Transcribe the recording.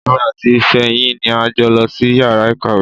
Èmi àti Fèyí ni a jọ lọ sí yàrá ìkàwé.